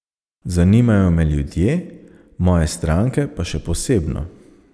Zanimajo me ljudje, moje stranke pa še posebno.